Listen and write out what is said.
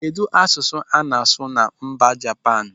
Kedụ asụsụ ana-asu na mba Japan?